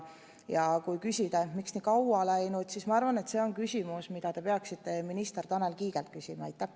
Ja kui küsida, miks nii kaua on läinud, siis ma arvan, et see on küsimus, mida te peaksite minister Tanel Kiigelt küsima.